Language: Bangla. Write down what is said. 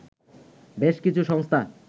বেশ কিছু সংস্থা